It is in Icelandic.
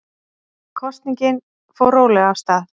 Kosningin fór rólega af stað